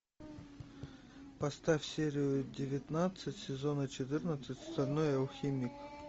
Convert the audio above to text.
поставь серию девятнадцать сезона четырнадцать стальной алхимик